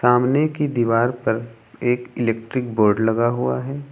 सामने की दीवार पर एक इलेक्ट्रिक बोर्ड लगा हुआ है।